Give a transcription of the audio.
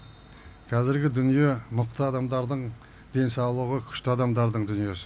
қазіргі дүние мықты адамдардың денсаулығы күшті адамдардың дүниесі